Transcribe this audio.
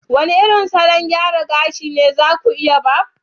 wane irin salon gyara gashi ne za ku iya Barb